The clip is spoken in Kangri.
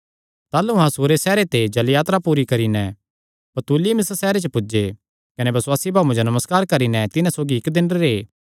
ताह़लू अहां सूरे सैहरे ते जलयात्रा पूरी करी नैं पतुलिमयिस सैहरे च पुज्जे कने बसुआसी भाऊआं जो नमस्कार करी नैं तिन्हां सौगी इक्क दिन रैह्